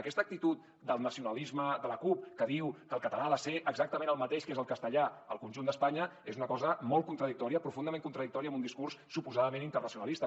aquesta actitud del nacionalisme de la cup que diu que el català ha de ser exactament el mateix que és el castellà al conjunt d’espanya és una cosa molt contradictòria profundament contradictòria amb un discurs suposadament internacionalista